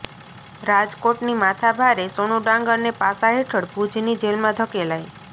રાજકોટની માથાભારે સોનું ડાંગરને પાસા હેઠળ ભૂજની જેલમાં ધકેલાઈ